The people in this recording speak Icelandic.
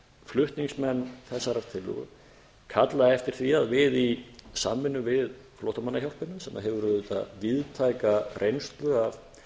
flutningsmenn þessarar tillögu kalla eftir því að við í samvinnu við flóttamannahjálpina sem hefur auðvitað víðtæka reynslu af